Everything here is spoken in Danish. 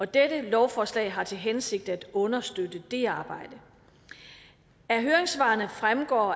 dette lovforslag har til hensigt at understøtte det arbejde af høringssvarene fremgår